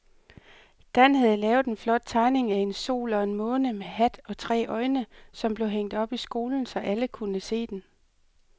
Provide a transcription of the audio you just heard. Dan havde lavet en flot tegning af en sol og en måne med hat og tre øjne, som blev hængt op i skolen, så alle kunne se den.